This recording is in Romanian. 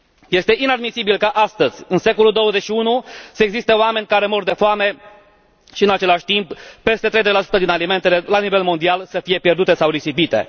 Este inadmisibil ca astăzi, în secolul XXI, să existe oameni care mor de foame și, în același timp, peste 30 din alimentele la nivel mondial să fie pierdute sau risipite.